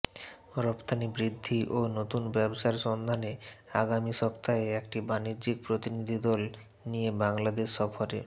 রফতানি বৃদ্ধি ও নতুন ব্যবসার সন্ধানে আগামী সপ্তাহে একটি বাণিজ্য প্রতিনিধিদল নিয়ে বাংলাদেশ সফরে